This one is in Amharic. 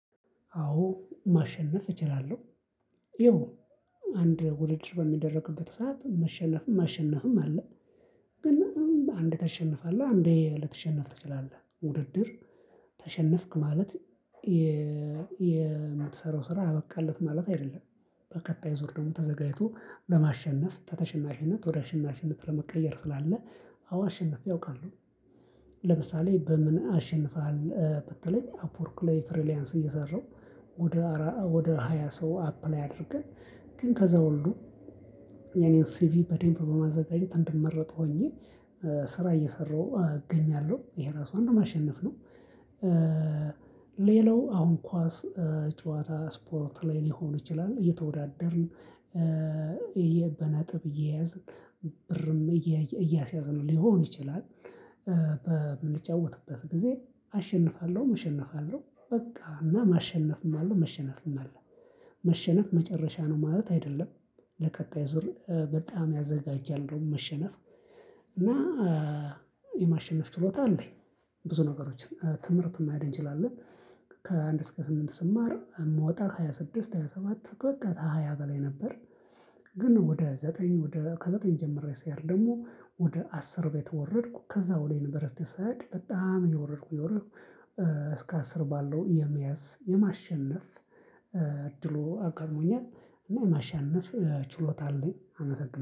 አዎ ማሸነፍ እችላለሁ። ይኸው አንድ ውድድር በሚደረግበት ሰዓት መሸነፍም ማሸነፍም አለ። ግን አንዴ ታሸንፋለህ አንዴ ልትሸነፍ ትችላለህ ውድድር። ተሸነፍክ ማለት የምትሰራው ስራ አበቃለት ማለት አይደለም። በቀጣይ ዙር ደግሞ ተዘጋጅቶ ለማሸነፍ ተተሽናሽነት ወደ ሽናሽነት ለመቀየር ስላለ። አዎ አሸንፌ አውቃለሁ። ለምሳሌ በምን አሸንፋለሁ በተለይ አፕወርክ ላይ ፍሪሊያንስ እየሰራሁ። ወደ ሃያ ሰው አፕላይ አድርገን ግን ከዛ ሁሉ። የኔን ሲቪ በዴምብ በማዘጋጀት እንድንመረጥ ሆኜ ስራ እየሰራሁ እገኛለሁ ይሄ ራሱ አንዱን ማሸነፍ ነው። ሌላው አሁን ኳስ ጨዋታ ስፖርት ላይ ሊሆን ይችላል እየተወዳደርን። በነጥብ እየያዝን ብርም እያስያዝን ሊሆን ይችላል። በምንጫወትበት ጊዜ አሸንፋለሁ እሸነፋለሁ በቃ እና ማሸነፍም አለው መሸነፍም አለው። መሸነፍ መጨረሻ ነው ማለት አይደለም። ለቀጣይ ዙር በጣም ያዘጋጃል ነው እንደውም መሸነፍ እና የማሸነፍ ችሎታ አለኝ። ብዙ ነገሮችን ትምህርት ማየት እንችላለን። ከአንድ እስከ ስምንት ስማር የምወጣ ከሃያ ስድስት ሃያ ሰባት በቃ ከ ሃያ በላይ ነበር። ግን ወደ ዘጠኝ ወደ ከዘጠኝ ጀምሬ ስሄድ ደሞ ወደ አስር ቤት ወረድኩ ከዛ ወደ ዩንቨርሲቲ ስሄድ በጣም እየወረድኩ እየወረድኩ። እስከ አስር ባለው የመያዝ የማሸነፍ እድሉ አጋጥሞኛል። እና ማሸነፍ ችሎታ አለኝ አመሰግናለሁ